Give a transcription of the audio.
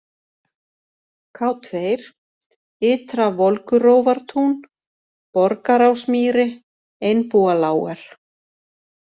K2, Ytra-Volgurófartún, Borgarásmýri, Einbúalágar